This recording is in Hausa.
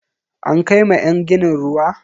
An kai ma yan ginin ruwa?